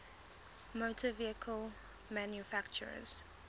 motor vehicle manufacturers